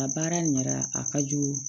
Nka baara in kɛra a ka jugu